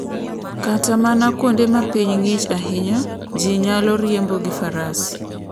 Kata mana kuonde ma piny ng'ich ahinya, ji nyalo riembo gi Faras.